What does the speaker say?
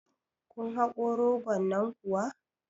kun haƙo rogon nan kuwa